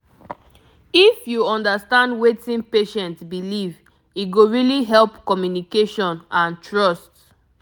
if you understand wetin patient believe e go really help communication and trust